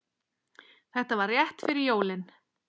Þetta var rétt fyrir jólin.